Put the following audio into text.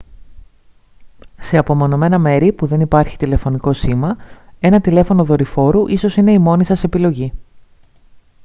σε απομονωμένα μέρη που δεν υπάρχει τηλεφωνικό σήμα ένα τηλέφωνο δορυφόρου ίσως είναι η μόνη σας επιλογή